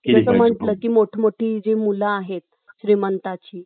जस म्हणाल जी मोठं मोठी मुलं आहेत श्रीमंतांची